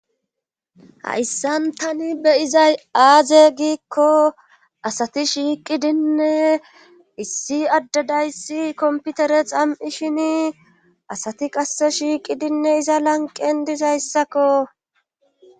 hayssan tani beyizay aaze giikko asati shiiqidinne issi addadayssi komputere xam7i shin asati qasse shiiqidinne iza lanqen dizayssakko